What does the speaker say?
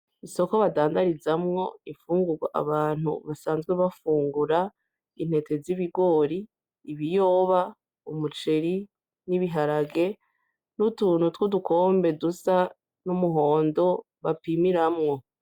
Isoko badandarizamwo infungurwa abantu basanzwe bafungura ;intete z'ibigori, ibiyoba, umuceri n'ibiharage n'utuntu tw'udukombe dusa n'umuhondo bapimiramwo.